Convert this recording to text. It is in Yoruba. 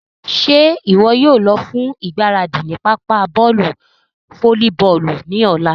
Ṣe iwọ yóò lọ fun igbaradi ni papa bọọlu folliboolu ni ọla?